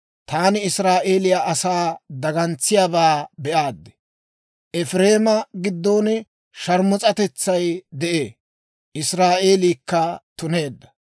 Taani Israa'eeliyaa asan dagantsiyaabaa be'aad. Efireema giddon sharmus'atetsay de'ee; Israa'eelikka tuneedda.